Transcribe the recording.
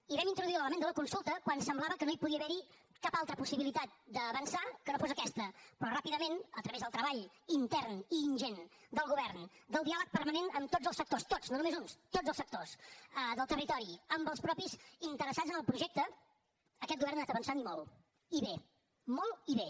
i vam introduir l’element de la consulta quan semblava que no hi podia haver cap altra possibilitat d’avançar que no fos aquesta però ràpidament a través del treball intern i ingent del govern del diàleg permanent amb tots el sectors tots no només uns tots els sectors del territori amb els mateixos interessats en el projecte aquest govern ha anat avançant i molt i bé molt i bé